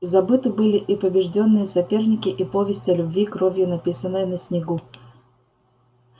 забыты были и побеждённые соперники и повесть о любви кровью написанная на снегу